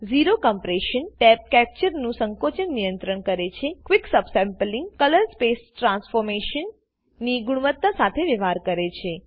zero Compressionટેબ capture નું સંકોચન નિયંત્રણ કરે છે ક્વિક સબસેમ્પલિંગ ક્લરર્સ્પેસ ટ્રન્સ્ફોર્મશન ની ગુણવત્તા સાથે વ્યવહાર કરે છે